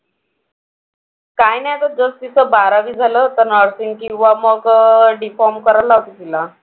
काही नाही अगं just तिचं बारावी झालं. आता nursing किंवा मग D Pharm करायला लावते तिला.